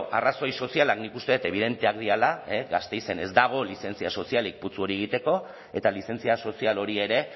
arrazoi sozialak nik uste dut ebidenteak direla gasteizen ez dago lizentzia sozialik putzu hori egiteko eta lizentzia sozial hori ere